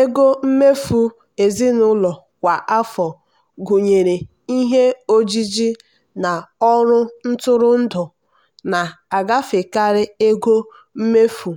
ego mmefu ezinụlọ kwa afọ gụnyere ihe ojiji na ọrụ ntụrụndụ na-agafekarị ego mmefu